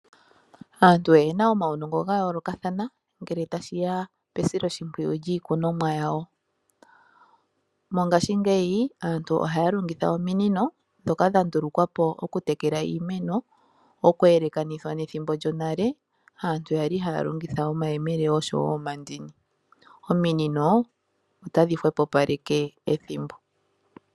Aantu oyena omawunongo gayoolokathana ngele tashiya pesilo shimpwiyu lyiikunomwa yawo. Mongashingeyi aantu ohaya longitha ominino dhoka dhandulukwa po okutekela iimeno, okwelekanithwa nethimbo lyonale aantu yali haya longitha omayemele nosho wo omandini. Ominino otadhi hwepopaleke ethimbo.